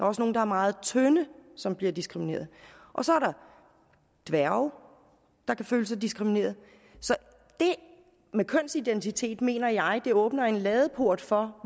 også nogle der er meget tynde som bliver diskrimineret og så er der dværge der kan føle sig diskrimineret så det med kønsidentitet mener jeg åbner en ladeport for